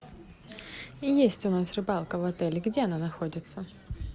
есть у нас рыбалка в отеле где она находится